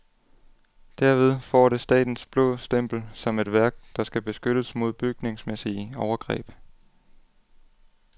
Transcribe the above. Derved får det statens blå stempel som et værk, der skal beskyttes mod bygningsmæssige overgreb.